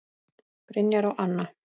Brynjar og Anna.